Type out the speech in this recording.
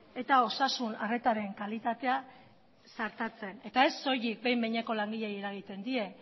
eta osasun arretaren kalitatea sartatzen eta ez soilik behin behineko langileei eragiten die